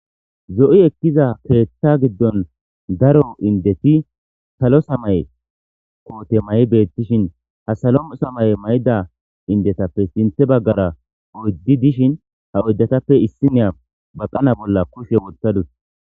Zo7i ekkiza peeththa giddon daro indeti salo samay koote may' beettishin ha salo samay mayda indetappe sinthe baggara oyddi dishin ha oyddatappe issi neya baqana bolla kushe wottadu.